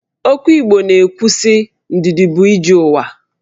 Okwu Igbo na-ekwu sị 'Ndidi bụ ije ụwa'